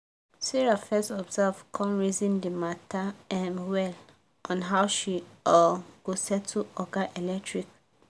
sarah first observe come reason d matter um well on how she um go settle oga electric